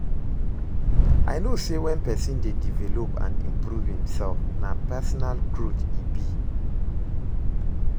I know say when pesin dey develop and improve imself, na personal growth e be.